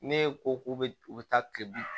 Ne ko k'u bɛ u bɛ taa kilebi